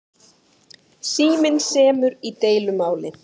Síminn semur í deilumáli